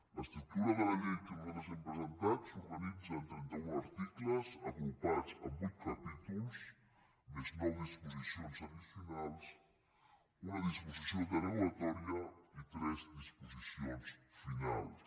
l’estructura de la llei que nosaltres hem presentat s’organitza en trenta un articles agrupats en vuit capítols més nou disposicions addicionals una disposició derogatòria i tres disposicions finals